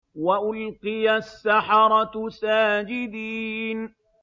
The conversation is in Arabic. وَأُلْقِيَ السَّحَرَةُ سَاجِدِينَ